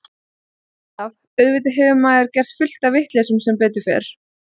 Ekki alltaf, auðvitað hefur maður gert fullt af vitleysum sem betur fer.